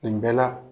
Nin bɛɛ la